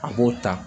A b'o ta